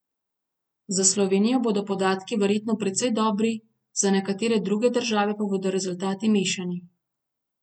Za Slovenijo bodo podatki verjetno precej dobri, za nekatere druge države pa bodo rezultati mešani.